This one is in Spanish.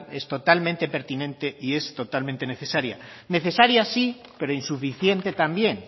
es totalmente pertinente y es totalmente necesaria necesaria sí pero insuficiente también